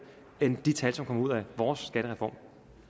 end de tal som kommer ud af vores skattereform